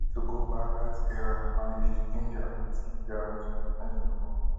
we need to go back dat era and manage di ginger wit ginger wit european football